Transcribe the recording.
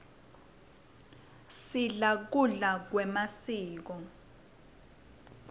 sidla kudla kwemasiko